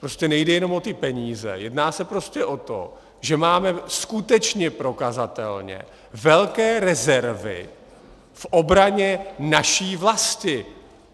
Prostě nejde jenom o ty peníze, jedná se prostě o to, že máme skutečně prokazatelně velké rezervy v obraně naší vlasti.